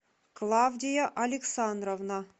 клавдия александровна